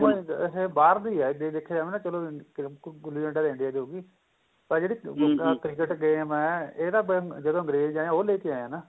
game ਇਹ ਬਾਹਰ ਦੀ ਏ ਜੇ ਦੇਖਿਆ ਜਾਵੇ ਨਾ ਚਲੋ ਗੁੱਲੀ ਡੰਡਾ ਦੇਂਦੀ ਏ ਜੋ ਵੀ ਪਰ ਜਿਹੜੀ cricket game ਏ ਇਹ ਤਾਂ ਜਿਹੜੇ ਅਗਰੇਜ ਏ ਉਹ ਲੈ ਕੇ ਆਏ ਏ ਨਾ